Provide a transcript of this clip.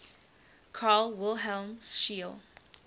carl wilhelm scheele